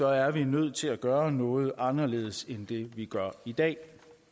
er vi nødt til at gøre noget anderledes end det vi gør i dag